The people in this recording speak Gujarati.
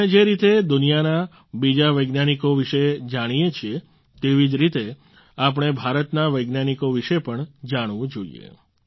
આપણે જે રીતે દુનિયાના બીજા વૈજ્ઞાનિકો વિશે જાણીએ છીએ તેવી જ રીતે આપણે ભારતના વૈજ્ઞાનિકો વિશે પણ જાણવું જોઈએ